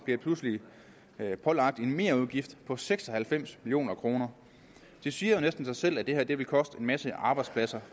bliver pludselig pålagt en merudgift på seks og halvfems million kroner det siger jo næsten sig selv at det her vil koste en masse arbejdspladser